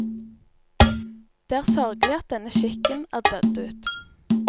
Det er sørgelig at denne skikken er dødd ut.